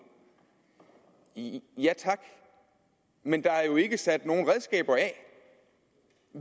ja tak men der er jo ikke sat nogen redskaber af